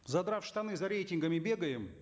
задрав штаны за рейтингами бегаем